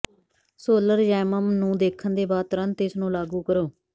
ਸੋਲਰਯੈਮਅਮ ਨੂੰ ਦੇਖਣ ਦੇ ਬਾਅਦ ਤੁਰੰਤ ਇਸ ਨੂੰ ਲਾਗੂ ਕਰੋ